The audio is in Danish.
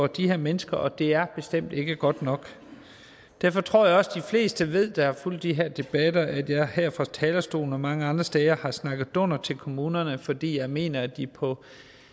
de her mennesker og det er bestemt ikke godt nok derfor tror jeg også de fleste der har fulgt de her debatter ved at jeg her fra talerstolen og mange andre steder har snakket dunder til kommunerne fordi jeg mener at de på